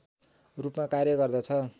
रूपमा कार्य गर्दछ